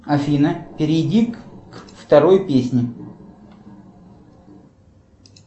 афина перейди к второй песне